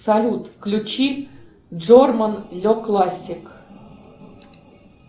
салют включи джорман ле классик